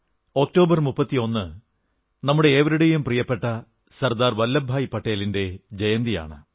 October 31 നമ്മുടെ ഏവരുടെയും പ്രിയപ്പെട്ട സർദാർ വല്ലഭഭായി പട്ടേലിന്റെ ജയന്തിയാണ്